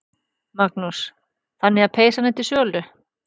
Magnús: Þannig að peysan er til sölu?